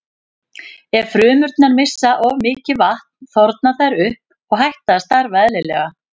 Ef frumurnar missa of mikið vatn þorna þær upp og hætt að starfa eðlilega.